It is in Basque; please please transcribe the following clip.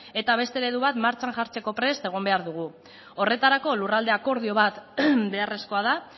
eta beste eredu bat martxan jartzeko prest egon behar dugu horretarako lurralde akordio bat beharrezkoa da